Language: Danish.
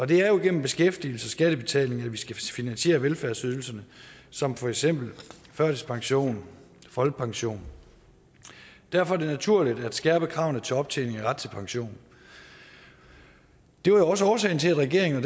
det er jo igennem beskæftigelse og skattebetaling at vi skal finansiere velfærdsydelser som for eksempel førtidspension og folkepension derfor er det naturligt at skærpe kravene til optjening af ret til pension det var også årsagen til at regeringen og